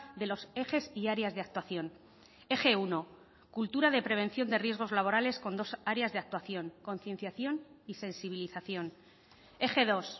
de los ejes y áreas de actuación eje uno cultura de prevención de riesgos laborales con dos áreas de actuación concienciación y sensibilización eje dos